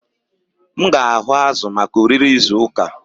M ga-ahụ azụ̀ maka oriri izu ụka.